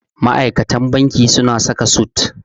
Ma'aikatan banki suna saka sut.